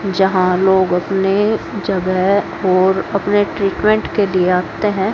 यहां लोग अपने जगह और अपने ट्रीटमेंट के लिए आते हैं।